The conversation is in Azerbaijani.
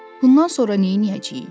Bundan sonra neyləyəcəyik?